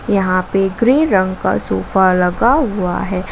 यहां पे ग्रे रंग का सोफा लगा हुआ है।